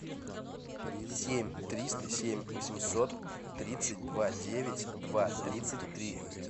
семь триста семь восемьсот тридцать два девять два тридцать три